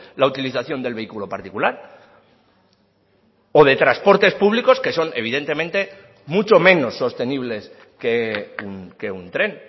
la utilización del vehículo particular o de transportes públicos que son evidentemente mucho menos sostenibles que un tren